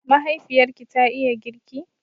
Mahaifiyarki ta iya girki?